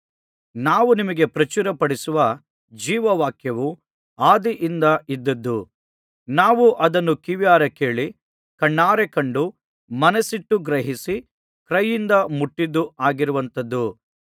ನಾವು ನಿಮಗೆ ಪ್ರಚುರಪಡಿಸುವ ಜೀವವಾಕ್ಯವು ಆದಿಯಿಂದ ಇದ್ದದ್ದು ನಾವು ಅದನ್ನು ಕಿವಿಯಾರೆ ಕೇಳಿ ಕಣ್ಣಾರೆ ಕಂಡು ಮನಸ್ಸಿಟ್ಟು ಗ್ರಹಿಸಿ ಕೈಯಿಂದ ಮುಟ್ಟಿದ್ದೂ ಆಗಿರುವಂತದ್ದು